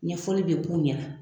Ɲɛfɔli be k'u ɲɛna .